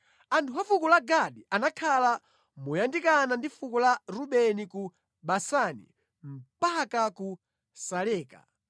Anthu a fuko la Gadi anakhala moyandikana ndi fuko la Rubeni ku Basani mpaka ku Saleka: